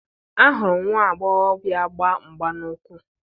Ahụrụ m nwa agbọghọ gba mgba n'ụkwụ.